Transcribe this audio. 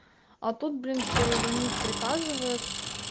а тут блин теперь звонит и приказывает